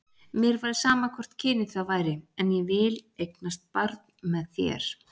Mér væri sama hvort kynið það væri, en ég vil eignast barn með þér.